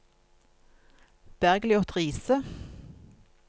Bergliot Riise